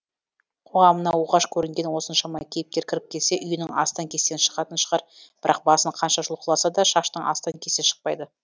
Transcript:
қоғамына оғаш көрінген осыншама кейіпкер кіріп келсе үйінің астан кестені шығатын шығар бірақ басын қанша жұлқыласа да шаштың астан кестен шықпайды